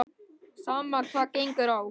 Sama hvað á gengur.